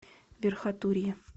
верхотурье